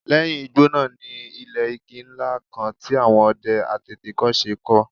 Lẹ́yìn igbó náà ni ilé igi ńlá kan tí àwọn ọdẹ àtètèkọ́ṣe kọ́